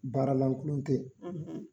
Baaralankolon tɛ ye;